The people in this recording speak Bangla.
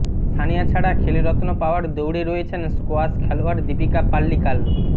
সানিয়া ছাড়া খেলরত্ন পাওয়ার দৌড়ে রয়েছেন স্কোয়াশ খেলোয়াড় দীপিকা পাল্লিকাল